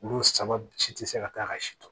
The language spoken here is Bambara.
Olu saba si tɛ se ka taa ka si dɔn